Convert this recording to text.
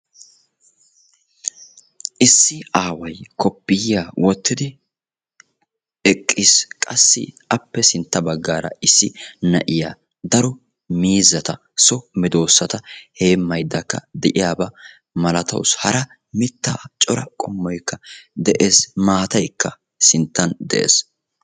issi aaway koppiyiyya wottidi eqqiis qass appe sintta bggara issi na'iyaa daro miizzata so medoosata hemmayddakka de'iyaaba malatawus hara mitta cora qommoykka de'ees maataykka sinttan de'ees.